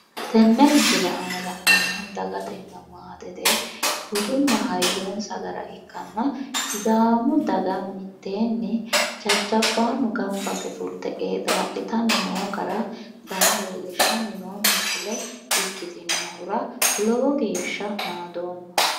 Tenne misile aana la'neemmohu daganna matete budunna hayyonsa gara ikkanna sidaamu daga miteenni jajjabbaannu gamba yite qeexaa'litanni noo gara dana leellishshanno misile ikkitinohura lowo geeshsha nadoomma.